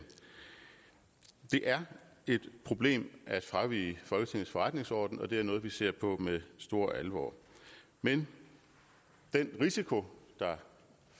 det er et problem at fravige folketingets forretningsorden og det er noget vi ser på med stor alvor men den risiko der